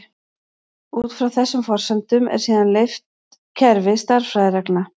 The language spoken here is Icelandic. Út frá þessum forsendum er síðan leitt kerfi stærðfræðireglna.